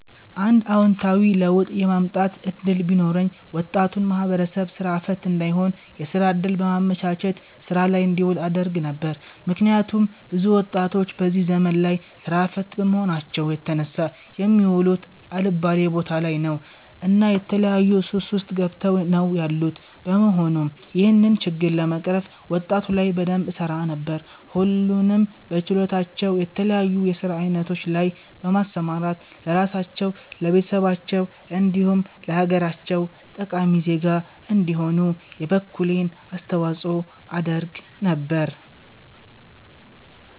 አንድ አወንታዊ ለውጥ የማምጣት እድል ቢኖረኝ ወጣቱን ማህበረሰብ ስራ ፈት እንዳይሆን የስራ እድል በማመቻቸት ስራ ላይ እንዲውሉ አደርግ ነበር። ምክንያቱም ብዙ ወጣቶች በዚህ ዘመን ላይ ስራ ፈት በመሆናቸው የተነሳ የሚውሉት አልባሌ ቦታ ላይ ነው እና የተለያዩ ሱስ ውስጥ ገብተው ነው ያሉት በመሆኑም ይህንን ችግር ለመቅረፍ ወጣቱ ላይ በደንብ እሰራ ነበር። ሁሉንም በችሎታቸው የተለያዩ የስራ አይነቶች ላይ በማሰማራት ለራሳቸው፣ ለቤተሰባቸው እንዲሁም ለሀገራቸው ጠቃሚ ዜጋ እንዲሆኑ የበኩሌን አስተዋፅኦ አደርግ ነበር